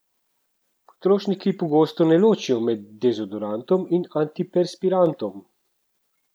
Potrošniki pogosto ne ločijo med dezodorantom in antiperspirantom.